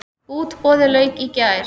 Útboði lauk í gær.